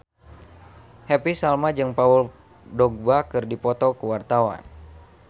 Happy Salma jeung Paul Dogba keur dipoto ku wartawan